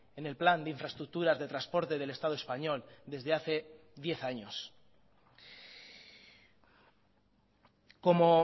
en el plan de infraestructuras de transporte del estado español desde hace diez años como